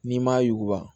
N'i m'a yuguba